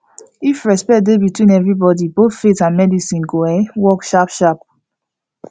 if respect dey between everybody both faith and medicine go um work sharp sharp